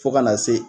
Fo ka na se